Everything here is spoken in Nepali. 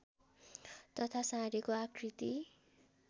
तथा साँढेको आकृति